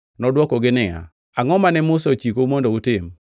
Nodwokogi niya, “Angʼo mane Musa ochikou mondo utim?”